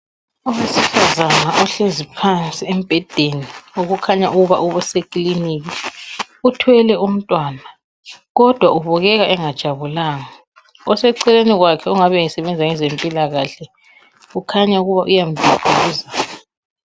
Owesifanazana ohlezi phansi embhedeni okukhanya ukuba uthwele umntwana kodwa ubekeka engajabulanga oseceleni kwakhe engabe esebenza kwezempilakahle ukhanya umduduza